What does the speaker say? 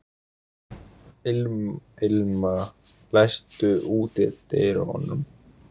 Irma, læstu útidyrunum.